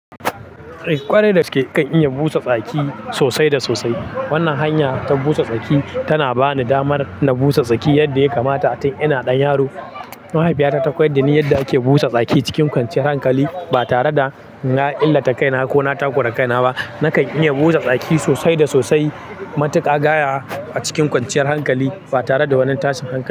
Eh ƙwarai dagaske nakan iya busa tsaki sosai da sosai. Wannan hanya ta busa tsaki tana bani damar na busa tsaki yadda ya kamata tun ina ɗan yaro. Mahaifiyata ta koyar da ni yadda ake busa tsaki cikin kwanciyar hankali ba tare da na illata kaina ko na takura kaina ba. Nakan iya busa tsaki sosai da sosai matuƙa gaya a cikin kwanciyar hankali ba tare da wani tashin hankali.